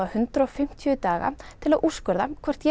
hundrað og fimmtíu daga til að úrskurða hvort ég